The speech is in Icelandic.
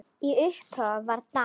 Í upphafi var dans.